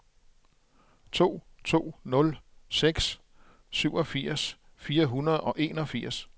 to to nul seks syvogfirs fire hundrede og enogfirs